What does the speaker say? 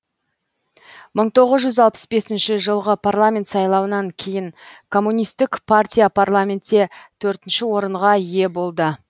мың тоғыз жүз алпыс бесінші жылғы парламент сайлауынан кейін коммунистік партия парламентте төртінші орынға ие болды